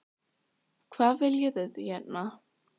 Ólafur Ragnar Grímsson: Hvað viljið þið hérna?